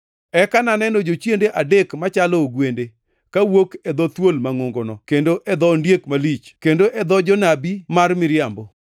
Eka naneno jochiende adek machalo ogwende, ka wuok e dho thuol mangʼongono kendo e dho ondiek malich kendo e dho janabi mar miriambo.